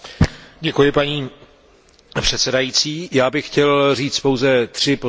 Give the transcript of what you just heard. Paní předsedající, já bych chtěl říct pouze tři poznámky.